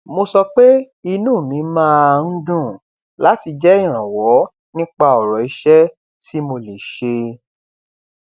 mo sọ pé inú mi máa ń dùn láti jẹ ìrànwọ nípa ọrọ iṣẹ tí mo lè ṣe